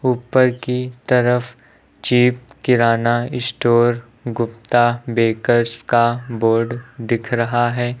ऊपर की तरफ चीप किराना स्टोर गुप्ता बेकर्स का बोर्ड दिख रहा है।